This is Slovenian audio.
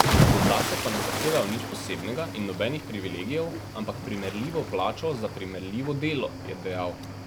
Zase pa ne zahtevajo nič posebnega in nobenih privilegijev, ampak primerljivo plačilo za primerljivo delo, je dejal.